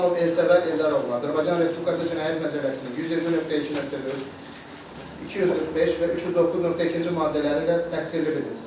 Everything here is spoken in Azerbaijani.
İslamov Elsəvər Eldaroğlu Azərbaycan Respublikası Cinayət Məcəlləsinin 120.2.4, 245 və 309.2-ci maddələri ilə təqsirli bilinsin.